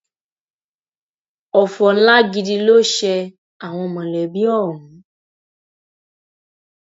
ọfọ ńlá gidi ló ṣe àwọn mọlẹbí ọhún